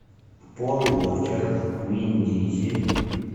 пол уокер вин дизель